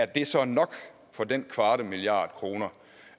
det så er nok for den kvarte milliard kroner